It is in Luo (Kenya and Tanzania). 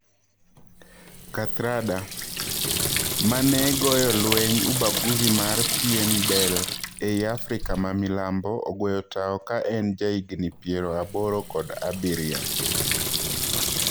Kathrada: Mane goyo lweny ubaguzi mar pien del ei Afrika ma milambo ogweyo tao ka en ja higni piero aboro kod abirio